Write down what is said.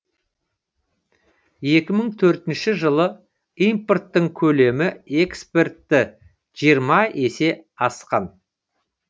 екі мың төртінші жылы импорттың көлемі экспортті жиырма есе асқан